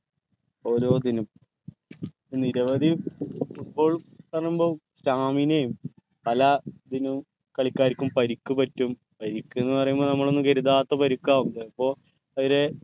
ഓരോത്തിനും നിരവധി football പറയുമ്പോ stamina യും പല ഇതിനും കളിക്കാർക്കും പരിക്ക് പറ്റും പരിക്ക് എന്ന് പറയുമ്പോ നമ്മൾ ഒന്നും കരുതാത്ത പരിക്കവും ചെലപ്പോ അവരെ